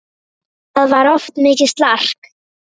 Það var oft mikið slark.